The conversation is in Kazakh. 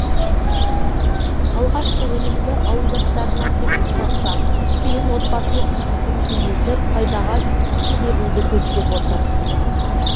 алғашқы өнімді ауылдастарына тегін таратса кейін отбасылық кәсібін кеңейтіп пайдаға кенелуді көздеп отыр